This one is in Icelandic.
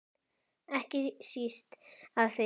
Ekki síst af því.